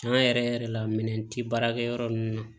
Tiɲɛ yɛrɛ yɛrɛ yɛrɛ la minɛn tɛ baarakɛ yɔrɔ ninnu na